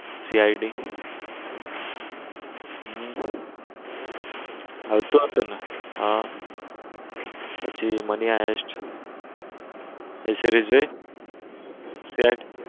CID હમ આવતું હતું ને હાં પછી મની હાઈસ્ટ ની series જોઈ સેટ CID